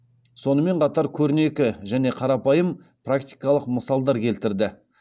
сонымен қатар көрнекі және қарапайым практикалық мысалдар келтірді